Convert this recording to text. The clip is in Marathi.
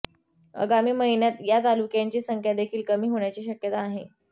आगामी महिन्यांत या तालुक्यांची संख्या देखील कमी होण्याची शक्यता आहे